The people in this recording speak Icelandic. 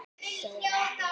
segir Andri.